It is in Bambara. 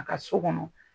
A ka so kɔnɔ